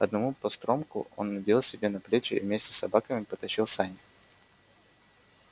одному постромку он надел себе на плечи и вместе с собаками потащил сани